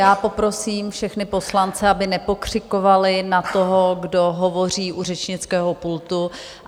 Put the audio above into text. Já poprosím všechny poslance, aby nepokřikovali na toho, kdo hovoří u řečnického pultu.